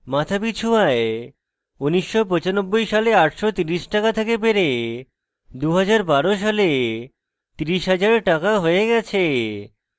মাথাপিছু আয় 1995 সালে 830 টাকা থেকে বেড়ে 2012 সালে 30000 টাকা হয়ে গেছে